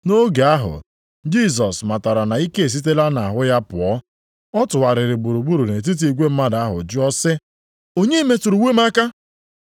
Nʼotu oge ahụ Jisọs matara na ike esitela ya nʼahụ pụọ. Ọ tụgharịrị gburugburu nʼetiti igwe mmadụ ahụ jụọ sị, “Onye metụrụ uwe m aka?”